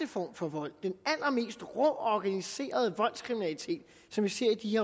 form for vold den allermest rå og organiserede voldskriminalitet som vi ser i de